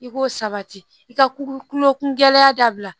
I k'o sabati i ka kulokun gɛlɛya dabila